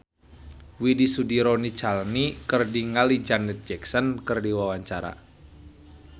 Widy Soediro Nichlany olohok ningali Janet Jackson keur diwawancara